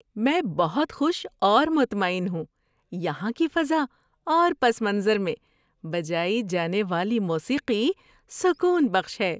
میں بہت خوش اور مطمئن ہوں، یہاں کی فضا اور پس منظر میں بجائی جانے والی موسیقی سکون بخش ہے!